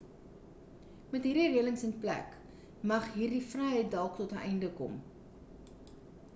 met hierdie relings in plek mag hierdie vryheid dalk tot 'n einde kom